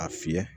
A fiyɛ